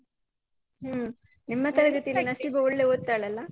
ಹ್ಮ್, ನಿಮ್ಮ ತರಗತಿಯಲ್ಲಿ ನಸೀಬಾ ಒಳ್ಳೆ ಓತ್ತಾಳಲ್ಲ?